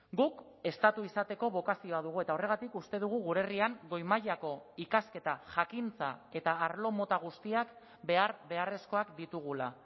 guk estatu izateko bokazioa dugu eta horregatik uste dugu gure herrian goi mailako ikasketa jakintza eta arlo mota guztiak behar beharrezkoak ditugula